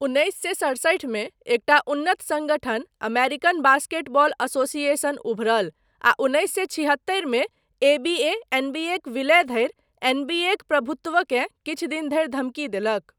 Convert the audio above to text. उन्नैस सए सड़सठि मे एकटा उन्नत सङ्गठन, अमेरिकन बास्केटबॉल एसोसिएशन उभरल आ उन्नैस सए छिहत्तरिमे एबीए एनबीएक विलय धरि एनबीएक प्रभुत्वकेँ किछु दिन धरि धमकी देलक।